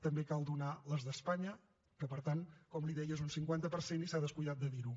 també cal donar les d’espanya que per tant com li deia són un cinquanta per cent i s’ha descuidat de dir ho